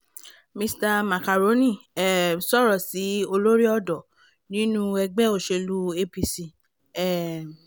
mr macaroni um sọ̀rọ̀ sí olórí ọ̀dọ́ nínú ẹgbẹ́ òṣèlú apc um